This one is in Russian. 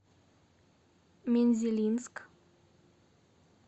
мензелинск